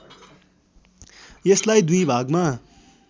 यसलाई दुई भागमा